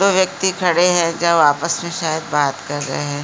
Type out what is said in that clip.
दो वक्ती खड़े हैं जो आपस में शायद बात कर रहें हैं।